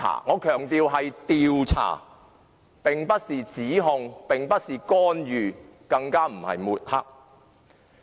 我強調，這是調查，不是指控，也不是干預，更不是抹黑。